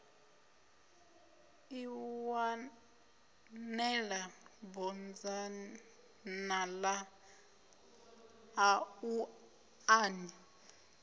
ḓiwanela bodzanḓala ḽaṋu a ni